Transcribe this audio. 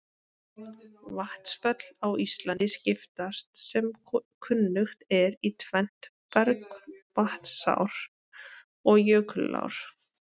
Vatnsföll á Íslandi skiptast sem kunnugt er í tvennt, bergvatnsár og jökulár.